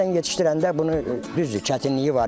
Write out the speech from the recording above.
Çiftədən yetişdirəndə bunu düzdür çətinliyi var.